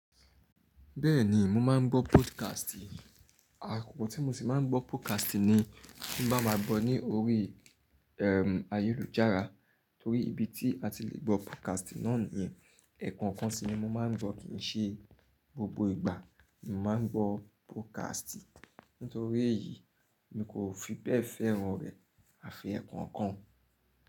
Bẹ́ẹ̀ni mo máa ń gbọ́ podcast. Àkókò tí mo ṣì máa ń gbọ́ podcast ni tí bá máa gbọ́ ní orí, ẹm, ayélujára torí ibi tí a ti le gbọ́ podcast náà ni iyen. Ẹ̀ẹ̀kan kan si ni mo máa ń gbọ́ kìí ṣe gbogbo ìgbà mo máa ń gbọ́ podcast. Nítorí èyí mi kò fi bẹ́ẹ̀ fẹ́ràn rẹ̀ àfi ẹ̀ẹ̀kan kan.